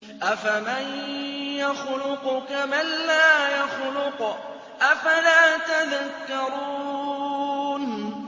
أَفَمَن يَخْلُقُ كَمَن لَّا يَخْلُقُ ۗ أَفَلَا تَذَكَّرُونَ